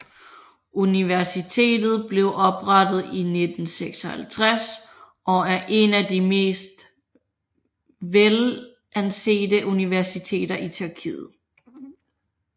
Universitet blev oprettet i 1956 og er en af det mest velansete universiteter i Tyrkiet